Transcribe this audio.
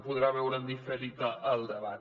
podrà veure en diferit el debat